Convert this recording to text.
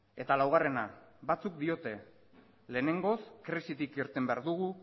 eta laugarrena batzuk diote lehenengoz krisitik irten behar dugu